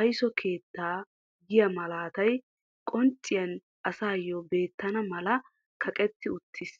aysso keettaa giyaa malatay qpncciyaan asayoo beettana mala kaqetti uttiis.